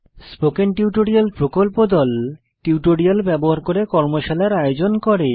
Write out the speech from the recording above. spoken tutorial প্রকল্প দল tutorial ব্যবহার করে কর্মশালার আয়োজন করে